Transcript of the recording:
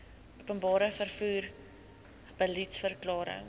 openbare vervoer beliedsverklaring